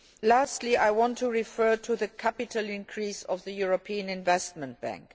Lastly, I want to refer to the capital increase of the European Investment Bank.